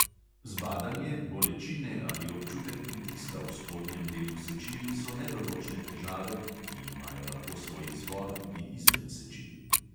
Zbadanje, bolečine ali občutek pritiska v spodnjem delu sečil so nedoločne težave, ki imajo lahko svoj izvor tudi izven sečil.